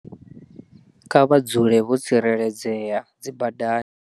Kha vha dzule vho tsireledzea dzibadani.